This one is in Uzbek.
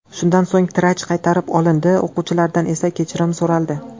Shundan so‘ng tiraj qaytarib olindi, o‘quvchilardan esa kechirim so‘raldi.